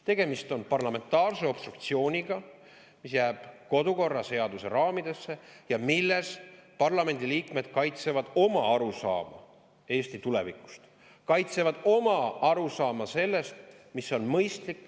Tegemist on parlamentaarse obstruktsiooniga, mis jääb kodukorraseaduse raamidesse ning millega parlamendiliikmed kaitsevad oma arusaama Eesti tulevikust ja oma arusaama sellest, mis on mõistlik.